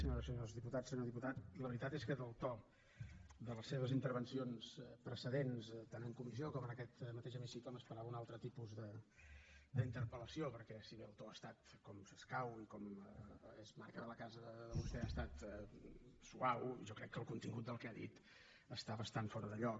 senyores i senyors diputats senyor diputat la veritat és que del to de les seves intervencions precedents tant en comissió com en aquest hemicicle m’esperava un altre tipus d’interpellació perquè si bé el to ha estat com s’escau i com és marc de la casa de vostè suau jo crec que el contingut del que ha dit està bastant fora de lloc